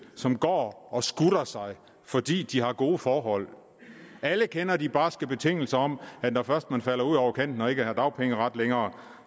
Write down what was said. som går og skutter sig fordi de har gode forhold alle kender de barske betingelser om at når først man falder ud over kanten og ikke har dagpengeret længere